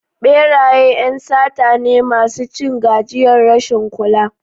Beraye ƴan sata ne masu cin gajiyar rashin kula.